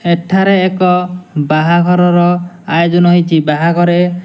ଏଠାରେ ଏକ ବାହାଘରର ଆୟୋଜନ ହୋଇଛି ବାହାଘରେ --